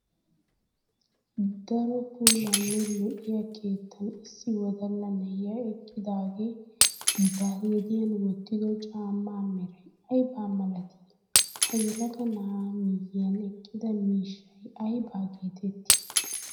Daro puulanne lo'iyaa keettan issi wodalla na'ay eqqidaage ba gediyan wotiddo cammaa meray ayba malati? Ha yelaga na'a miyiyan eqqida miishay ayba geetetti?